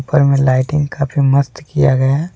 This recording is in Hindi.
उपर में लाइटिंग काफी मस्त किया गया।